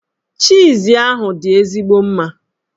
Chiiz ahụ dị ezigbo mma.